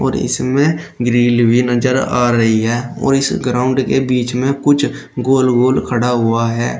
और इसमें ग्रिल भी नजर आ रही है और इस ग्राउंड के बीच में कूछ गोल गोल खड़ा हुआ है।